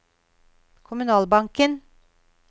kommunalbanken